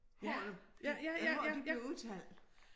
H'et jamen h'et det bliver udtalt